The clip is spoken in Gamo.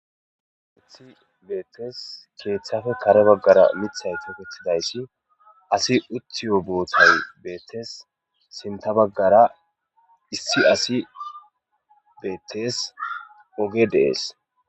Uthi beettes keeththafe kare baggara mithay tokettidayssi asi uthiyo boothay beettes sinta baggara issi asi beettes oge dees.